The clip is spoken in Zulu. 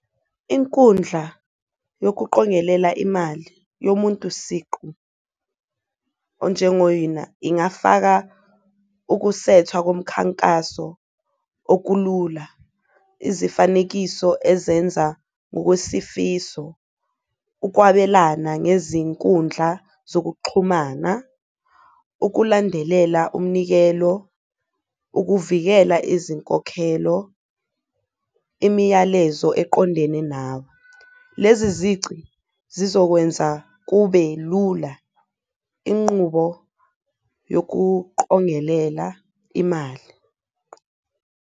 Inkundla yokuqongelela imali yomuntu siqu onjengo-Euna ingafaka ukusethwa komkhankaso okulula, izifanekiso ezenza okwesifiso, ukwabelana ngezinkundla zokuxhumana, ukulandelela umnikelo, ukuvikela izinkokhelo, imiyalezo eqondene nawe. Lezi zici zizokwenza kube lula inqubo yokuqongelela imali.